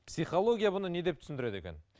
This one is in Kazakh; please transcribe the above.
психология бұны не деп түсіндіреді екен